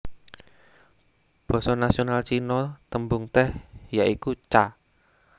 Basa nasional Cina tembung tèh ya iku Cha